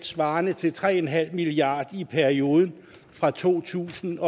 svarende til tre en halv milliard i perioden fra to tusind